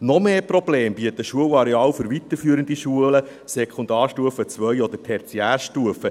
Noch mehr Probleme bieten Schulareale von weiterführenden Schulen: Sekundarstufe II oder Tertiärstufe.